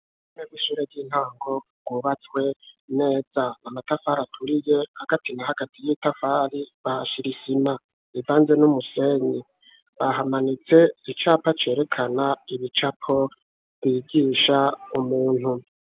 Imwe mwishure ryintango ryubatswe neza na matafari aturiye agatina hagati y'itafari bashirisima ivanze n'umusenyi bahamanitse icapa cerekana ibicapo bwigisha umuntu.